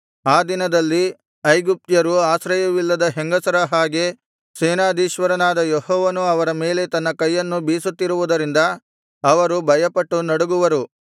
ಆ ದಿನದಲ್ಲಿ ಐಗುಪ್ತ್ಯರು ಅಶ್ರಯವಿಲ್ಲದ ಹೆಂಗಸರ ಹಾಗೆ ಭಯಗ್ರಸ್ತರಾಗಿರುವರು ಸೇನಾಧೀಶ್ವರನಾದ ಯೆಹೋವನು ಅವರ ಮೇಲೆ ತನ್ನ ಕೈಯನ್ನು ಬೀಸುತ್ತಿರುವುದರಿಂದ ಅವರು ಭಯಪಟ್ಟು ನಡುಗುವರು